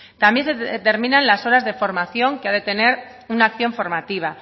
también se determinan las horas de formación que ha de tener una acción formativa